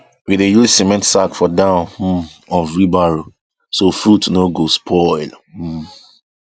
we dey use cement sack for down um of wheelbarrow so fruit no go spoil um